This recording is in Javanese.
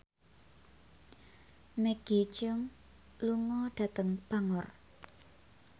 Maggie Cheung lunga dhateng Bangor